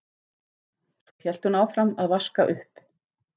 Svo hélt hún áfram að vaska upp.